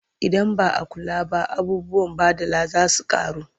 Idan ba a kula ba abubuwan baɗala za su ƙaru.